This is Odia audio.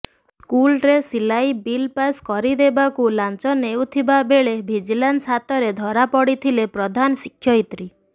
ସ୍କୁଲ ଡ୍ରେସ ସିଲାଇ ବିଲ ପାସ୍ କରିଦେବାକୁ ଲାଞ୍ଚ ନେଉଥିବା ବେଳେ ଭିଜଲାନ୍ସ ହାତରେ ଧରାପଡ଼ିଲେ ପ୍ରଧାନଶିକ୍ଷୟିତ୍ରୀ